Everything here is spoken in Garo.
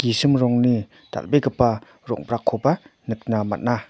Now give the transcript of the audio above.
gisim rongni dal·begipa rong·brakkoba nikna man·a.